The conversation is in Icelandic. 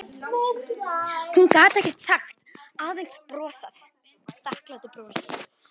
Hún gat ekkert sagt, aðeins brosað þakklátu brosi.